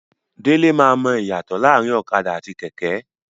Dele ma mọ iyatọ laarin ọ̀kadà àti kẹkẹ.